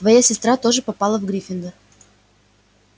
твоя сестра тоже попала в гриффиндор